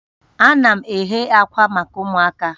Ana m eghe akwa maka ụmụaka